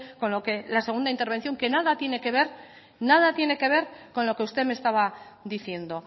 con lo de la segunda intervención que nada tiene que ver nada tiene que ver con lo que usted me estaba diciendo